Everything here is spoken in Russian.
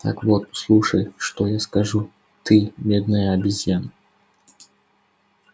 так вот слушай что я скажу ты медная обезьяна